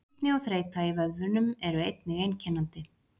Stífni og þreyta í vöðvunum eru einnig einkennandi.